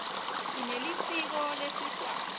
sinelisiko lesiswati